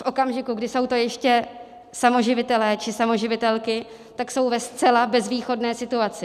V okamžiku, kdy jsou to ještě samoživitelé či samoživitelky, tak jsou ve zcela bezvýchodné situaci.